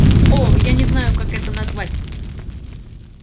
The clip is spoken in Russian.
о я не знаю как это назвать